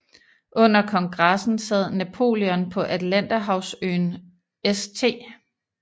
Under kongressen sad Napoleon på Atlanterhavsøen St